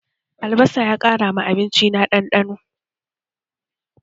Albasa ya ƙara ma abinci na ɗanɗano